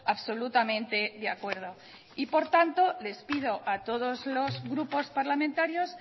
absolutamente de acuerdo y por tanto les pido a todos los grupos parlamentarios